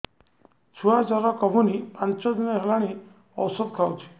ଛୁଆ ଜର କମୁନି ପାଞ୍ଚ ଦିନ ହେଲାଣି ଔଷଧ ଖାଉଛି